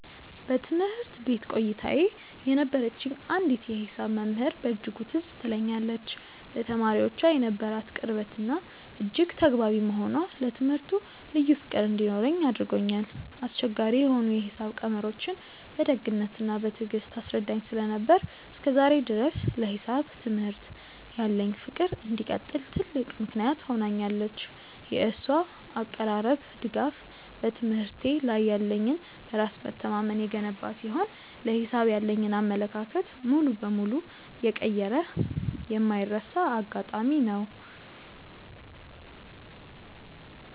በትምህርት ቤት ቆይታዬ የነበረችኝ አንዲት የሂሳብ መምህር በእጅጉ ትዝ ትለኛለች፤ ለተማሪዎቿ የነበራት ቅርበትና እጅግ ተግባቢ መሆኗ ለትምህርቱ ልዩ ፍቅር እንዲኖረኝ አድርጎኛል። አስቸጋሪ የሆኑ የሂሳብ ቀመሮችን በደግነትና በትዕግስት ታስረዳኝ ስለነበር፣ እስከ ዛሬ ድረስ ለሂሳብ ትምህርት ያለኝ ፍቅር እንዲቀጥል ትልቅ ምክንያት ሆናኛለች። የእሷ አቀራረብና ድጋፍ በትምህርቴ ላይ ያለኝን በራስ መተማመን የገነባ ሲሆን፣ ለሂሳብ ያለኝን አመለካከት ሙሉ በሙሉ የቀየረ የማይረሳ አጋጣሚ ነው።